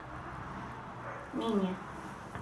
нине